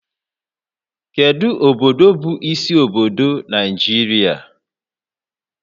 Kedu obodo bụ isi obodo Naijiria?